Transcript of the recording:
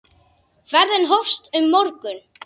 Ferðin hófst um morgun.